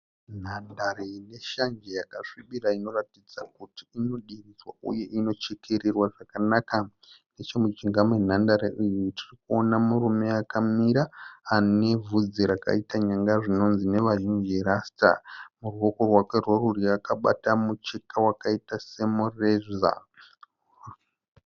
Nhandare ine shanje yakasvibira inoratidza kuti inodiridzwa uye inochekererwa zvakanaka. Nechemujinga menhandare iyi tirikuona murume akamira ane vhudzi rakaita nyanga zvinonzi nevazhinji rasita. Muruoko rwake rworudyi akabata mucheka wakaita semureza.